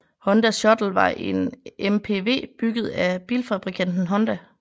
Honda Shuttle var en MPV bygget af bilfabrikanten Honda